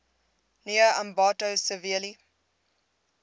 near ambato severely